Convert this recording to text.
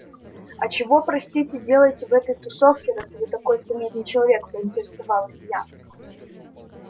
а чего простите делаете в этой тусовке раз вы такой солидный человек поинтересовалась я